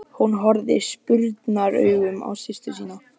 Hún horfði spurnaraugum á systur sína.